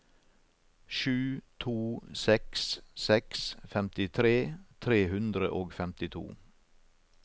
sju to seks seks femtitre tre hundre og femtito